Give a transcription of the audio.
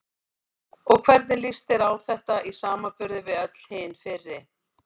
Og hvernig líst þér á þetta í samanburði við öll hin fyrri?